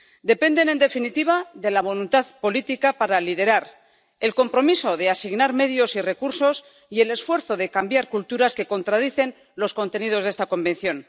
dependen, en definitiva, de la voluntad política para liderar el compromiso de asignar medios y recursos, y del esfuerzo de cambiar culturas que contradicen los contenidos de la Convención.